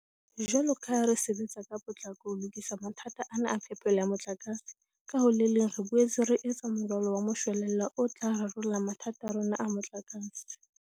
Jwalo ka ha re sebetsa ka potlako ho lokisa mathata ana a phepelo ya motlakase, ka ho le leng re boetse re etsa moralo wa moshwelella o tla rarolla mathata a rona a motlakase.